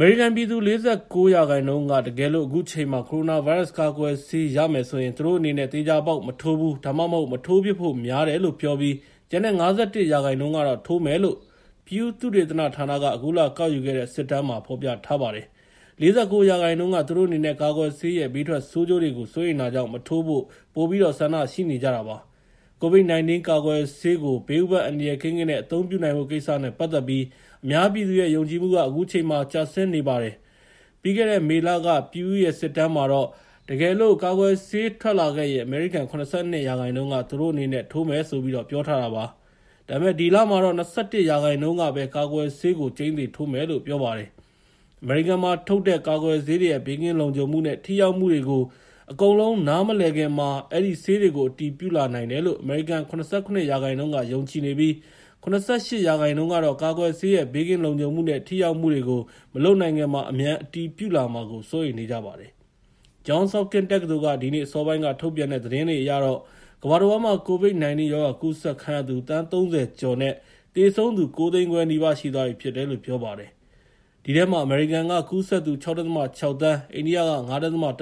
အမေရိကန်ပြည်သူ ၄၉ ရာခိုင်နှုန်းက တကယ်လို့ အခုအချိန်မှာ ကိုရိုနာဗိုင်းရပ်စ်ကာကွယ်ဆေးရမယ်ဆိုရင် သူတို့အနေနဲ့ သေချာပေါက် မထိုးဘူး ဒါမှမဟုတ် မထိုးဖြစ်ဖို့များတယ်လို့ပြောပြီး ကျန်တဲ့ ၅၁ ရာခိုင်နှုန်းကတော့ ထိုးမယ်လို့ Pew သုတေသနဌာနက အခုလကောက်ယူတဲ့ စစ်တမ်းမှာ ဖော်ထြားပါတယ်။ ၄၉ ရာခိုင်နှုန်းက သူတို့အနေနဲ့ ကာကွယ်ဆေးရဲ့ ဘေးထွက်ဆိုးကျိုးတွေကို စိုးရိမ်တာကြောင့် မထိုးဖို့ ပိုပြီးတော့ ဆန္ဒရှိနေကြတာပါ။ COVID 19 ကာကွယ်ဆေးကို ဘေးဥပါဒ်အန္တရာယ်ကင်းကင်း အသုံးပြုနိုင်ဖို့ကိစ္စနဲ့ ပတ်သက်ပြီး အများပြည်သူရဲ့ ယုံကြည်မှုက အခုချိန်မှာ ကျဆင်းနေတာပါ။ ပြီးခဲ့တဲ့ မေလက Pew ရဲ့ စစ်တမ်းမှာတော့ တကယ်လို့ ကာကွယ်ဆေးထွက်လာခဲ့ရင် အမေရိကန် ၇၂ ရာခိုင်နှုန်းက သူတို့အနေနဲ့ ထိုးမယ်ဆိုပြီးပြောထားတာပါ။ ဒါပေမဲ့ ဒီလမှာတော့ ၂၁ ရာခိုင်နှုန်းကပဲ ကာကွယ်ဆေးကို ကျိန်းသေထိုးမယ်လို့ ပြောပါတယ်။ အမေရိကန်မှာထုတ်တဲ့ ကာကွယ်ဆေးတွေရဲ့ ဘေးကင်းလုံခြုံမှုနဲ့ ထိရောက်မှုတွေကို အကုန်လုံး နားမလည်ခင်မှာ အဲဒီဆေးတွေကို အတည်ပြုလာနိုင်တယ်လို့ အမေရိကန် ၇၇ ရာခိုင်နှုန်းက ယုံကြည်နေပြီး ၇၈ ရာခိုင်နှုန်းကတော့ ကာကွယ်ဆေးရဲ့ ဘေးကင်းလုံခြုံမှုနဲ့ ထိရောက်မှုတွေကို မလုပ်နိုင်ခင်မှာ အမြန်အတည်ပြုလာမှာကို စိုးရိမ်နေကြပါတယ်။ Johns Hopkins တက္ကသိုလ်က ဒီနေ့ အစောပိုင်း ထုတ်ပြန်တဲ့ သတင်းအရတော့ ကမ္ဘာတဝန်းမှာ COVID-19 ရောဂါကူးစက်ခံရသူ သန်း ၃၀ ကျော်နဲ့ သေဆုံးသူ ၉၅၀,၀၀၀ နီးပါးရှိသွားပြီဖြစ်တယ်လို့ ပြောပါတယ်။ အဲဒီထဲမှာ အမေရိကန်က ကူးစက်သူ ၆.၆ သန်း၊ အိန္ဒိယက ၅.၁ သန်း၊ ဘရာ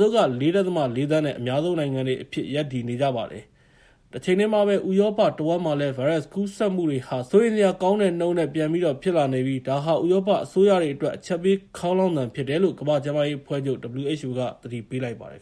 ဇီးလ်က ၄.၄ သန်းနဲ့ အများဆုံးနိုင်ငံတွေအဖြစ် ရပ်တည်နေပါတယ်။ တချိန်တည်းမှာပဲ ဥရောပတဝန်းမှာလည်း ဗိုင်းရပ်စ်ကူးစက်မှုတွေဟာ စိုးရိမ်စရာကောင်းတဲ့နှုန်းနဲ့ ပြန်ပြီးတော့ဖြစ်လာနေပြီး ဒါဟာ ဥရောပအစိုးရတွေအတွက် အချက်ပေးခေါင်းလောင်သံ ဖြစ်တယ်လို့ ကမ္ဘာကျန်းမာရေးအဖွဲ့ချုပ် WHO က သတိပေးလိုက်ပါတယ်